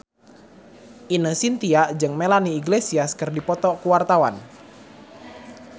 Ine Shintya jeung Melanie Iglesias keur dipoto ku wartawan